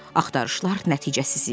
Axtarışlar nəticəsiz idi.